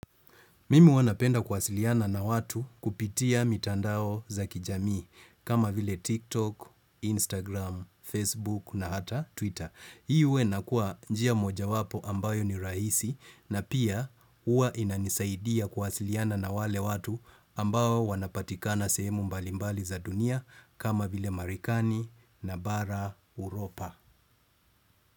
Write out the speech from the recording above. Mimi huwa napenda kuwasiliana na watu kupitia mitandao za kijamii kama vile TikTok, Instagram, Facebook na hata Twitter. Hii huwa inakua njia mojawapo ambayo ni rahisi na pia huwa inanisaidia kuwasiliana na wale watu ambao wanapatikana sehemu mbalimbali za dunia kama vile Marikani na bara Europa.